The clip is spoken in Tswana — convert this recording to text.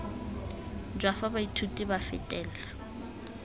jwa fa baithuti ba fetela